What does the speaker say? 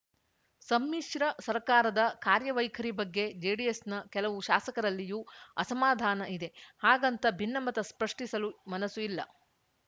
ಸಮ್ಮಿಶ್ರ ಸರ್ಕಾರದ ಕಾರ್ಯವೈಖರಿ ಬಗ್ಗೆ ಜೆಡಿಎಸ್‌ನ ಕೆಲವು ಶಾಸಕರಲ್ಲಿಯೂ ಅಸಮಾಧಾನ ಇದೆ ಹಾಗಂತ ಭಿನ್ನಮತ ಸ್ಪಷ್ಟಿಸಲು ಮನಸು ಇಲ್ಲ